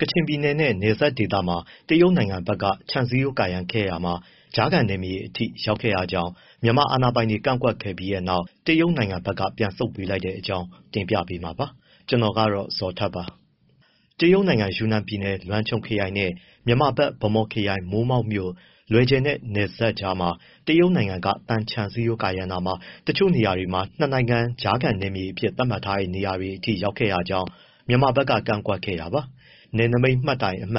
ကချင်ပြည်နယ်နဲ့ နယ်စပ်ဒေသမှာ တရုတ်နိုင်ငံဘက်က ခြံစည်းရိုး ကာရံခဲ့ရာမှာ ကြားခံနယ်မြေထဲအထိ ရောက်ခဲ့တာကြောင့် မြန်မာအာဏာပိုင်တွေ ကန့်ကွက်ခဲ့ပြီးနောက် တရုတ်နိုင်ငံက ပြန်ဆုတ်ပေးလိုက်တဲ့အကြောင်း တင်ပြပေးမှာပါ။ ဗွီအိုအေမြန်မာပိုင်း သတင်းထောက် ကိုဇော်ထက်က သတင်းပေးပို့ထားပါတယ်။ တရုတ်နိုင်ငံ ယူနန်ပြည်နယ်၊ လုံချွမ်ခရိုင်နဲ့ မြန်မာဘက် ဗန်းမော်ခရိုင်၊ မိုးမောက်မြို့ လွယ်ဂျယ်နဲ့ နယ်စပ်ကြားမှာ တရုတ်နိုင်ငံက သံခြံစည်းရိုး ကာရံရာမှာ တချို့နေရာတွေမှာ ၂ နိုင်ငံကြားခံနယ်မြေအဖြစ် သတ်မှတ်ထားတဲ့နေရာထဲအထိ ရောက်ခဲ့တာကြောင့် မြန်မာဘက်က ကန့်ကွက်ခဲ့တာပါ။ နယ်နမိတ်မှတ်တိုင် ၄၉/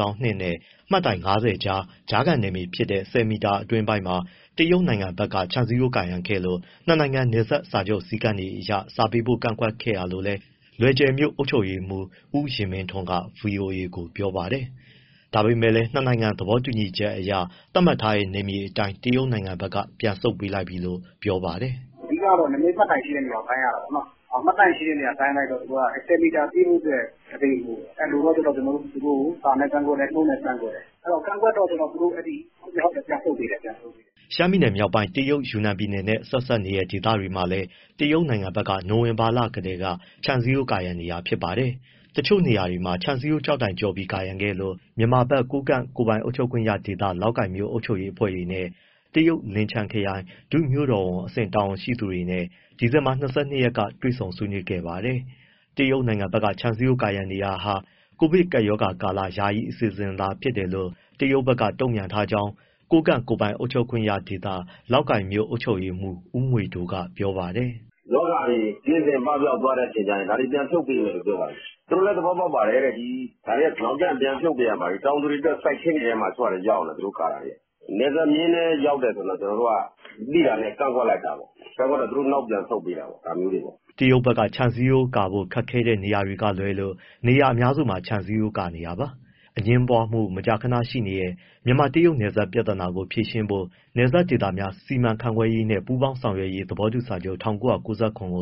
၂ နဲ့ မှတ်တိုင် ၅၀ ကြား ကြားခံနယ်မြေဖြစ်တဲ့ ၁၀ မီတာ အတွင်းပိုင်းမှာ တရုတ်နိုင်ငံဘက်က ခြံစည်းရိုးကာခဲ့လို့ ၂ နိုင်ငံ နယ်စပ်စာချုပ်စည်းကမ်းတွေအရ စာပေးပို့ ကန့်ကွက်ခဲ့တာလို့လည်း လွယ်ဂျယ်မြို့ အုပ်ချုပ်ရေးမှူး ဦးယဉ်မင်းထွန်းက ဗွီအိုအေကို ပြောပါတယ်။ ဒါပေမဲ့လည်း နှစ် နိုင်ငံ သဘောတူညီချက်အရ သတ်မှတ်ထားတဲ့ နယ်မြေအတိုင်း တရုတ်နိုင်ငံက ပြန်ဆုတ်ပေးလိုက်ပြီလို့ ပြောပါတယ်။ “အဓိကတော့ နယ်နမိတ်မှတ်တိုင်ရှိတဲ့နေရာ တိုင်းရတာပေါ့နော်၊ မှတ်တိုင်ရှိတဲ့နေရာ တိုင်းလိုက်တော့ ၁၀ မီတာပြည့်ဖို့အတွက် ၁ ပေလိုတယ်၊ ၁ ပေလိုတော့ သူတို့ကို စာနဲ့ ကန့်ကွက်တယ်၊ နှုတ်နဲ့ကန့်ကွက်တယ်။ ကန့်ကွက်တော့သူတို့ နောက်ကိုပြန်ဆုတ်ပေးတယ်။” ရှမ်းပြည်နယ်မြောက်ပိုင်း တရုတ်ယူနန်ပြည်နယ်နဲ့ ဆက်စပ်နေတဲ့ ဒေသတွေမှာလည်း တရုတ်ဘက်က နိုဝင်ဘာလကတည်းက ခြံစည်ရိုးကာနေတာ ဖြစ်ပါတယ်။ တချို့နေရာတွေမှာ နယ်စပ်ခြံစည်းရိုးကျောက်တိုင်ကျော်ပြီး ကာရံခဲ့လို့ မြန်မာဘက် ကိုးကန့် ကိုယ်ပိုင်အုပ်ချုပ်ခွင့်ရဒေသ လောက်ကိုင်မြို့ အုပ်ချုပ်ရေးအဖွဲ့တွေနဲ့ တရုတ်လင်ချန်းခရိုင် ဒုမြို့တော်ဝန်အဆင့် တာဝန်ရှိသူတွေနဲ့ ဒီဇင်ဘာ ၂၂ ရက်ကတွေ့ပြီး ဆွေးနွေးခဲ့ပါတယ်။ တရုတ်နိုင်ငံဘက်က ခြံစည်းရိုးကာရံနေတာဟာ ကိုဗစ်ကပ်ရောဂါကာလ ယာယီအစီအစဉ်သာ ဖြစ်တယ်လို့ တရုတ်ဘက်က တုံ့ပြန်ထားကြောင်းလည်း ကိုးကန့်ကိုယ်ပိုင်အုပ်ချုပ်ခွင့်ရဒေသ၊ လောက်ကိုင်မြို့ အုပ်ချုပ်ရေးမှူး ဦးငွေဒိုးက ပြောပါတယ်။ “ရောဂါတွေ ကင်းစင်ပပျောက်သွားရင် ပြန်ဖြုတ်ပေးမယ်လို့ ပြောပါတယ်။ သူတို့လည်း သဘောပေါက်ပါတယ်တဲ့ ဒါတွေက နောင်ကျရင် ပြန်ဖြုတ်ပေးရမှာလေ။ တောင်သူတွေထဲရောက်နေတာ တချို့ဟာ သူတို့ကာတာတွေက။ နယ်စပ်မျဉ်းထဲ ရောက်တယ်ဆိုရင်တော့ ကျနော်တို့က သိတာနဲ့ ကန့်ကွက်လိုက်တာပေါ့။ အဲဒီတော့သူတို့ နောက်ပြန်ဆုတ်ပေးတာပေါ့ ဒါမျိုးတွေ။” တရုတ်ဘက်က ခြံစည်းရိုးကာဖို့ ခက်ခဲတဲ့ နေရာတွေက လွဲလို့နေရာအများစုမှာ ခြံစည်းရိုးကာနေတာပါ။ အငြင်ပွားမှု မကြာခဏရှိနေတဲ့ မြန်မာ- တရုတ်နယ်စပ်ပြဿနာကို ဖြေရှင်းဖို့ နယ်စပ်ဒေသများ စီမံခန့်ခွဲရေးနှင့် ပူးပေါင်းဆောင်ရွက်ရေး သဘောတူစာချုပ် (၁၉၉၇) ကို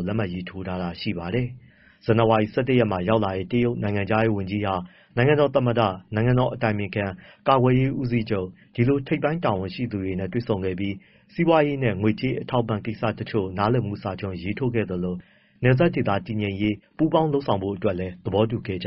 လက်မှတ်ရေးထိုး ထားတာရှိပါတယ်။ ဇန်နဝါရီ ၁၁ ရက်မှာ ရောက်လာတဲ့ တရုတ်နိုင်ငံခြားရေးဝန်ကြီးဟာ နိုင်ငံတော်သမ္မတ၊ နိုင်ငံတော်အတိုင်ပင်ခံ၊ ကာကွယ်ရေးဦးစီးချုပ် ဒီလိုထိပ်ပိုင်း တာဝန်ရှိသူတွေနဲ့ တွေ့ဆုံခဲ့ပြီး စီးပွားရေးနဲ့ ငွေကြေးအထောက်အပံ့ကိစ္စ တချို့ကို နားလည်မှု စာချွန်ရေးထိုးခဲ့သလို နယ်စပ်ဒေသတည်ငြိမ်ရေး ပူးတွဲလုပ်ဆောင်ဖို့လည်း သဘောတူခဲ့ကြ